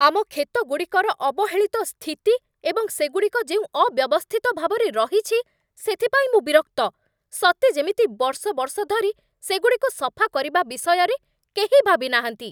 ଆମ କ୍ଷେତ ଗୁଡ଼ିକର ଅବହେଳିତ ସ୍ଥିତି ଏବଂ ସେଗୁଡ଼ିକ ଯେଉଁ ଅବ୍ୟବସ୍ଥିତ ଭାବରେ ରହିଛି, ସେଥିପାଇଁ ମୁଁ ବିରକ୍ତ। ସତେ ଯେମିତି ବର୍ଷ ବର୍ଷ ଧରି ସେଗୁଡ଼ିକୁ ସଫା କରିବା ବିଷୟରେ କେହି ଭାବିନାହାନ୍ତି।